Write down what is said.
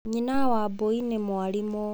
Nyina wambui nĩ mwarimũ.